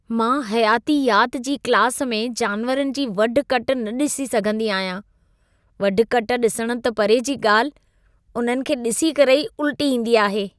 मां हयातियात जी क्लास में जानवरनि जी वढु-कट न ॾिसी सघंदी आहियां। वढु-कट ॾिसण त परे जी ॻाल्हि, उन्हनि खे ॾिसी करे ई उल्टी ईंदी आहे।